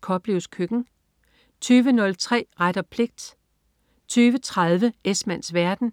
Koplevs Køkken* 20.03 Ret og pligt* 20.30 Esmanns verden*